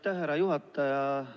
Aitäh, härra juhataja!